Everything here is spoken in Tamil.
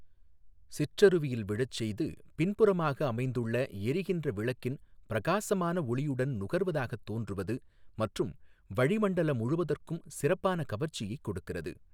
சிற்றறுவியில் விழச் செய்து பின்புறமாக அமைந்துள்ள எரிகின்ற விளக்கின் பிரகாசமான ஒளியுடன் நுகர்வதாகத் தோன்றுவது மற்றும் வழி மண்டல முழுவதற்கும் சிறப்பான கவர்ச்சியைக் கொடுக்கிறது.